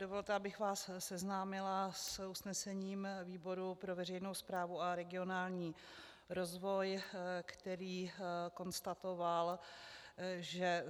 Dovolte, abych vás seznámila s usnesením výboru pro veřejnou správu a regionální rozvoj, který konstatoval, že